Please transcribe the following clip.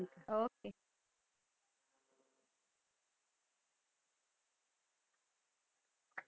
Okay.